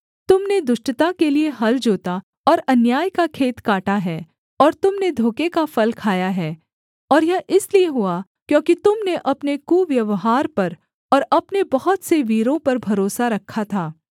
तुम ने दुष्टता के लिये हल जोता और अन्याय का खेत काटा है और तुम ने धोखे का फल खाया है और यह इसलिए हुआ क्योंकि तुम ने अपने कुव्यवहार पर और अपने बहुत से वीरों पर भरोसा रखा था